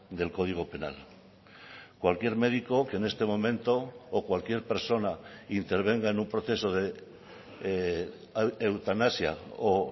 del código penal cualquier médico que en este momento o cualquier persona intervenga en un proceso de eutanasia o